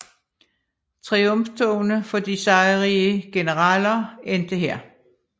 Triumftogene for de sejrrige generaler endte her